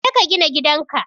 Jeka ka gina gidan ka.